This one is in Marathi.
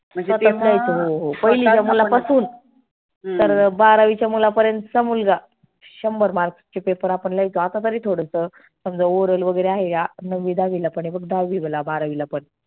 म्हणजे आता पहिलीच्या मुला पासून तर बारावीच्या मुला पर्यंतचा मुलगा शंभर mark चे paper आपण लिहायचो आता तरी थोडसं समजा oral वगैरे आहे या नववी दहावीला पण दहावी बारावीला पण.